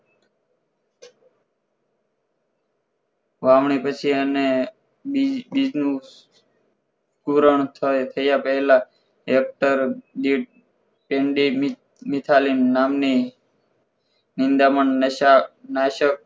વાવણી પછી અને બીજું પુરાણ થાય ત્યાં પહેલા એક્ટર દીઠ ટેડી મિસાલીન નામની નિદામણ નાશ નશાક